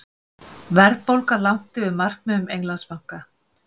Verðbólga langt yfir markmiðum Englandsbanka